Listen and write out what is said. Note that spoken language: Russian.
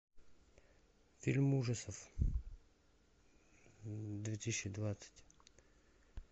фильм ужасов две тысячи двадцать